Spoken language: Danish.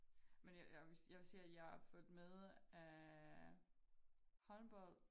Men jeg jeg jeg vil sige at jeg har fulgt med øh håndbold